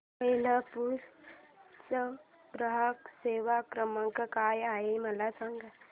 Whirlpool चा ग्राहक सेवा क्रमांक काय आहे मला सांग